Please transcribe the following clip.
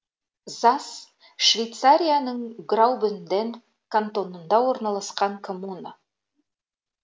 зас швейцарияның граубюнден кантонында орналасқан коммуна